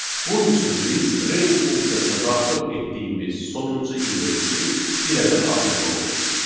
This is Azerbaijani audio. Bunun üçün biz range funksiyasına daxil etdiyimiz sonuncu indeksi bir ədəd artırmalıyıq.